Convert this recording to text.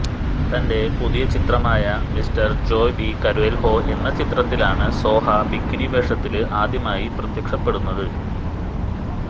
തന്റെ പുതിയ ചിത്രമായ മിസ്റ്റര് ജോയ് ബി കര്വെല്ഹൊ എന്ന ചിത്രത്തിലാണ് സോഹ ബിക്കിനി വേഷത്തില് ആദ്യമായി പ്രത്യക്ഷപ്പെടുന്നത്